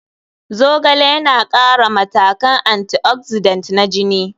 Zogale yana ƙara matakan antioxidant na jini.